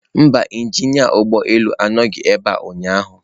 Mba, injinia ụgbọ elu anọghị ebe a ụnyaahụ